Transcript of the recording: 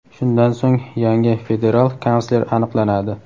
shundan so‘ng yangi federal kansler aniqlanadi.